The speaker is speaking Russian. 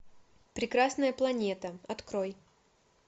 прекрасная планета открой